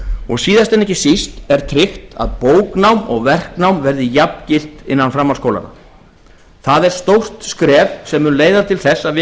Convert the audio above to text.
og síðast en ekki síst er tryggt að bóknám og verknám verði jafngilt innan framhaldsskólanna það er stórt skref sem mun leiða til þess að við fáum